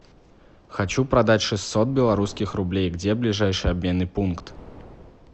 хочу продать шестьсот белорусских рублей где ближайший обменный пункт